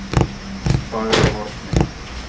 Fagrahorni